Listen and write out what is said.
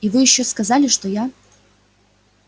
и вы ещё сказали что я